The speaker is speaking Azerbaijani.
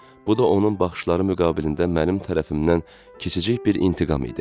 Bu da onun baxışları müqabilində mənim tərəfimdən kiçicik bir intiqam idi.